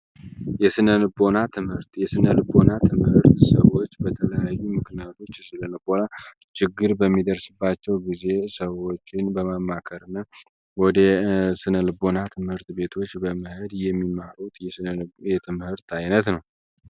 የስነ ልቦና ትምሀርት የስነ ልቦና ትምህርት ሰዎች በተለያዩ ምክንያቶች ህዝነ ልቦና ችግር በሚደስሰባቸው ጊዜ ሰዎችን በማማከር እና ወደ ስነልቦና ትምህርት ቤቶች በመሄድ የሚማሩት የትምህርት አይነት ነው።